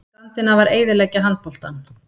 Skandinavar eyðileggja handboltann